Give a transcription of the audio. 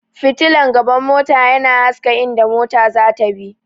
fitilan gaban mota yana haska inda mota zata bi